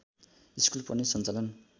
school पनि सञ्चालन